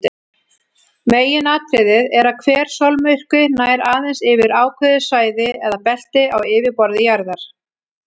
Meginatriðið er að hver sólmyrkvi nær aðeins yfir ákveðið svæði eða belti á yfirborði jarðar.